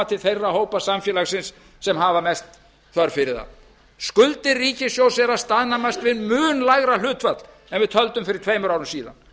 til þeirra hópa samfélagsins sem hafa mest þörf fyrir það skuldir ríkissjóðs eru að staðnæmast við mun lægra hlutfall en við töldum fyrir tveimur árum síðan